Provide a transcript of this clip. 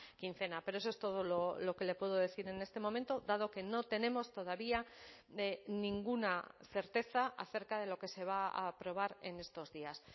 quincena pero eso es todo lo que le puedo decir en este momento dado que no tenemos todavía de ninguna certeza acerca de lo que se va a aprobar en estos días